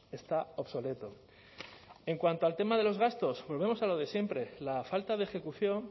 está obsoleto en cuanto al tema de los gastos volvemos a lo de siempre la falta de ejecución